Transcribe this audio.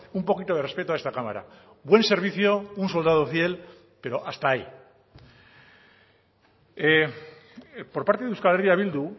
un poquito de respeto a esta cámara buen servicio un soldado fiel pero hasta ahí por parte de euskal herria bildu